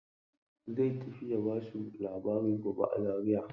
Zai tafi ya ba su labari gobe a Zaria.